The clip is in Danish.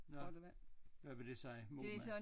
Nå hvad vil det sige